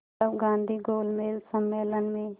तब गांधी गोलमेज सम्मेलन में